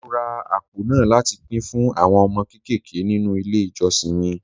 Mo ra àpò náà láti pín fún àwọn ọmọ kéékèèké nínú ilé ìjọsìn mi.